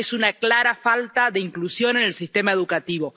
Es una clara falta de inclusión en el sistema educativo.